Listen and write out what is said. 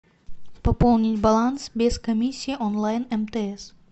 пополнить баланс без комиссии онлайн мтс